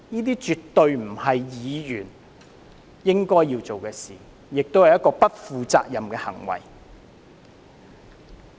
這絕對不是議員應該要做的事，亦是不負責任的行為。